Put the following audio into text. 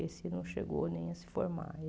Esse não chegou nem a se formar.